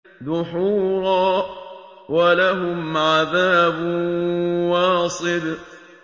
دُحُورًا ۖ وَلَهُمْ عَذَابٌ وَاصِبٌ